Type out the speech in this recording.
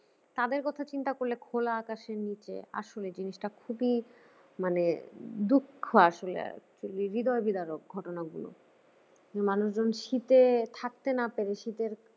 তাদের কথা চিন্তা করলে খোলা আকাশের নিচে আসলে জিনিসটা খুবই মানে দুঃখ আসলে হৃদয়বিদরক ঘটনা গুলো মানুষজন শীতে থাকতে না পেরে শীতে